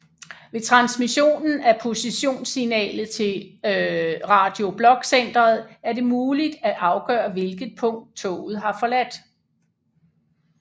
Ved transmissionen af positionssignalet til Radio Blok Centeret er det muligt at afgøre hvilket punkt toget har forladt